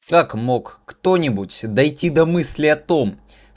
как мог кто-нибудь дайте да мысли о том